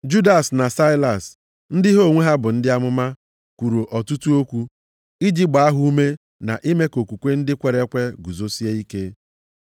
Judas na Saịlas, ndị ha onwe ha bụ ndị amụma, kwuru ọtụtụ okwu, iji gbaa ha ume na ime ka okwukwe ndị kwere ekwe guzosie ike.